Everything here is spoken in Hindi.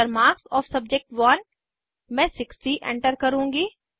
Enter मार्क्स ओएफ सब्जेक्ट1 मैं 60 एंटर करुँगी